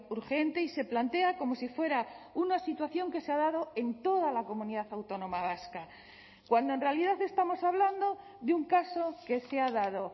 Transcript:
urgente y se plantea como si fuera una situación que se ha dado en toda la comunidad autónoma vasca cuando en realidad estamos hablando de un caso que se ha dado